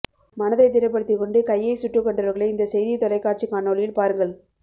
மனதை திடப் படுத்திகொண்டு கையை சுட்டுக் கொண்டவர்களை இந்த செய்தித் தொலைக் காட்சிக் காணொளியில் பாருங்கள்